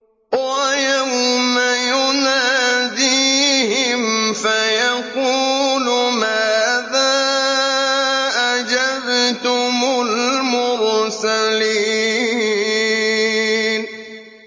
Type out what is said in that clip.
وَيَوْمَ يُنَادِيهِمْ فَيَقُولُ مَاذَا أَجَبْتُمُ الْمُرْسَلِينَ